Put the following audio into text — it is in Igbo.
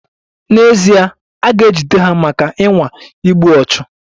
N'ezie, a ga-ejide ha maka ịnwa igbu ọchụ.